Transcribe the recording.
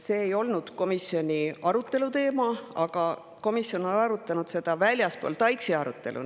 See ei olnud komisjoni selle arutelu teema, aga komisjon on arutanud seda väljaspool TAIKS-i arutelu.